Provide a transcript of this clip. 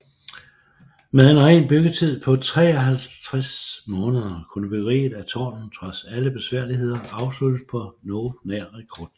Med en ren byggetid på 53 måneder kunne byggeriet af tårnet trods alle besværligheder afsluttes på noget nær rekordtid